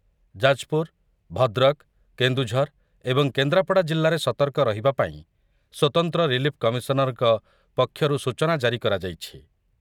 ଯାଜପୁର, ଭଦ୍ରକ, କେନ୍ଦୁଝର ଏବଂ କେନ୍ଦ୍ରାପଡ଼ା ଜିଲ୍ଲାରେ ସତର୍କ ରହିବା ପାଇଁ ସ୍ୱତନ୍ତ୍ର ରିଲିଫ କମିଶନରଙ୍କ ପକ୍ଷରୁ ସୂଚନା ଜାରି କରାଯାଇଛି ।